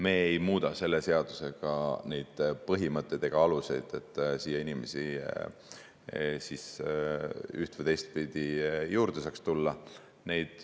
Me ei muuda selle seadusega neid põhimõtteid ega aluseid, et siia inimesi üht‑ või teistpidi juurde saaks tulla.